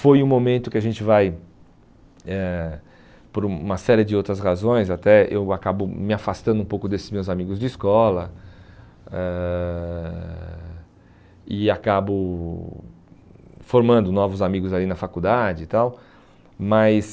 Foi um momento que a gente vai, eh por uma série de outras razões até, eu acabo me afastando um pouco desses meus amigos de escola ãh e acabo formando novos amigos ali na faculdade e tal, mas